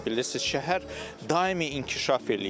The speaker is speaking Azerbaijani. Bilirsiniz, şəhər daimi inkişaf eləyir.